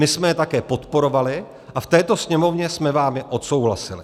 My jsme je také podporovali a v této Sněmovně jsme vám je odsouhlasili.